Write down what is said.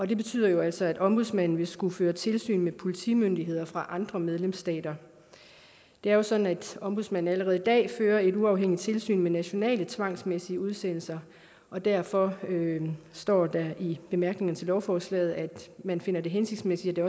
det betyder jo altså at ombudsmanden vil skulle føre tilsyn med politimyndigheder fra andre medlemsstater det er jo sådan at ombudsmanden allerede i dag fører et uafhængigt tilsyn med nationale tvangsmæssige udsendelser og derfor står der i bemærkningerne til lovforslaget at man finder det hensigtsmæssigt at